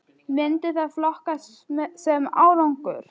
Myndi það flokkast sem árangur??